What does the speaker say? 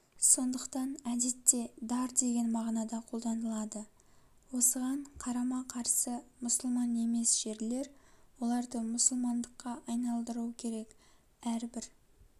сондықтан әдетте дар деген мағынада қолданылады осыған қарама-карс мұсылман емес жерлер оларды мұсылмандыкка айналдыру керек әрбір